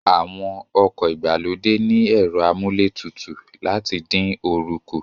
Àwọn ọkọ̀ ìgbàlódé ní ẹ̀rọ amúlé tutù láti dín oorun kù